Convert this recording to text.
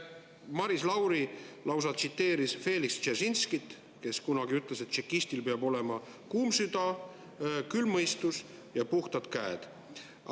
Maris Lauri lausa tsiteeris Feliks Dzeržinskit, kes kunagi ütles, et tšekistil peab olema kuum süda, külm mõistus ja puhtad käed.